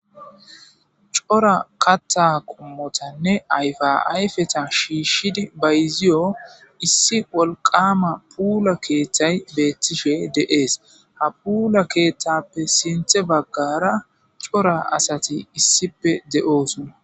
cora katta qummotanne ayfa ayfeta shiishshidi bayziyo issi wolqama puula keeththay beettishe deees ha puula keeththappe sinthe baggara cora asati issipe de7oosona